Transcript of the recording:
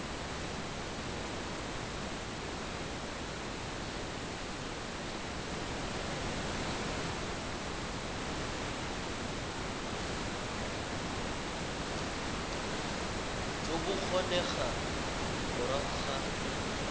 jo bo kgonegang morago ga